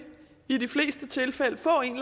i de fleste tilfælde få en